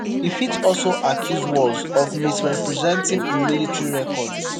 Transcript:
e fit also accuse walz of misrepresenting im military record.